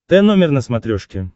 т номер на смотрешке